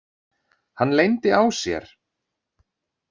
Hann leyndi á sér.